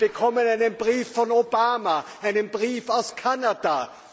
Wir bekommen einen Brief von Obama, einen Brief aus Kanada!